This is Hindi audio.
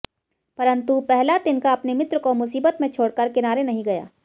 परंतु पहला तिनका अपने मित्र को मुसीबत में छोड़कर किनारे नहीं गया